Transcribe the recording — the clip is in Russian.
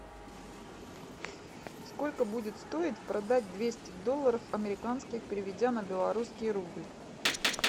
сколько будет стоить продать двести долларов американских переведя на белорусский рубль